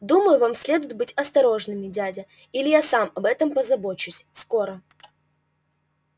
думаю вам следует быть осторожным дядя или я сам об этом позабочусь скоро